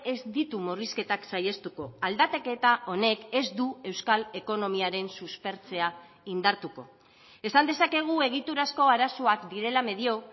ez ditu murrizketak saihestuko aldaketa honek ez du euskal ekonomiaren suspertzea indartuko esan dezakegu egiturazko arazoak direla medio